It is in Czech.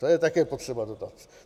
To je také potřeba dodat.